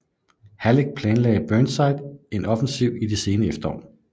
Halleck planlagde Burnside en offensiv i det sene efterår